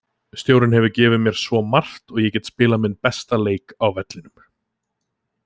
Stjórinn hefur gefið mér svo margt og ég get spilað minn besta leik á vellinum.